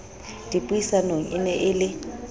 dipuisanong e ne e le